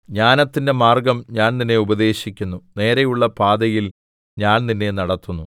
ജ്ഞാനത്തിന്റെ മാർഗ്ഗം ഞാൻ നിന്നെ ഉപദേശിക്കുന്നു നേരെയുള്ള പാതയിൽ ഞാൻ നിന്നെ നടത്തുന്നു